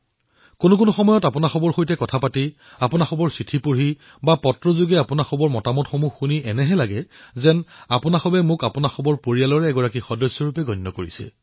বহুসময়ত আপোনালোকৰ সৈতে কথা পাতোতে আপোনালোকৰ চিঠি পঢ়োতে অথবা আপোনালোকে ফোনত প্ৰেৰণ কৰা চিন্তাধাৰা শুনি মোৰ এনেকুৱা অনুভৱ হয় যে আপোনালোকে মোক নিজৰ পৰিয়ালৰ অংশ বুলি মানি লৈছে